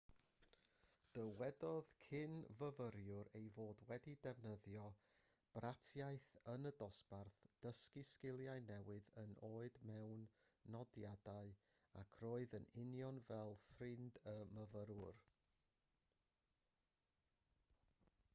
dywedodd cyn-fyfyriwr ei fod wedi defnyddio bratiaith yn y dosbarth dysgu sgiliau gwneud oed mewn nodiadau ac roedd yn union fel ffrind y myfyrwyr